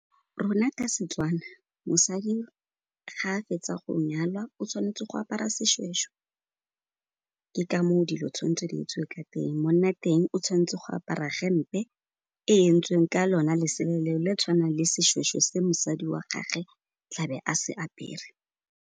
Rona ka Setswana, mosadi ga a fetsa go nyalwa o tshwanetse go apara seshweshwe ke ka moo dilo tshwantse di etsiwe ka teng. Monna'teng o tshwantse go apara gempe e e entsweng ka lona lesela leo, le tshwanang le seshweshwe se mosadi wa gage tla be a se apere.